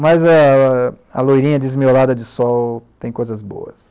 Mas a loirinha desmiolada de sol tem coisas boas.